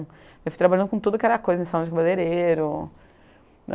Eu fui trabalhando com tudo que era coisa, em salão de cabaleireiro.